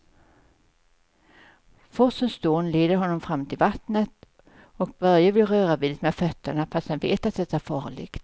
Forsens dån leder honom fram till vattnet och Börje vill röra vid det med fötterna, fast han vet att det är farligt.